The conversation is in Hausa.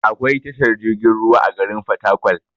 Akwai tashar jirgin ruwa a garin fatakwal